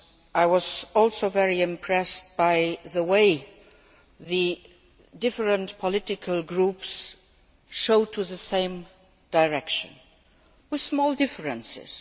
I was also very impressed by the way the different political groups are going in the same direction, with small differences.